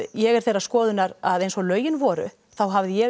ég er þeirrar skoðunar að eins og lögin voru hafi ég